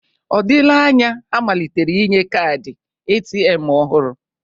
Ọ dịla anya ha malitere inye kaadị ATM ọhụrụ?